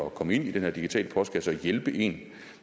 at komme ind i den her digitale postkasse og hjælpe en